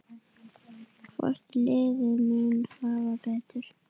Hvort liðið mun hafa betur?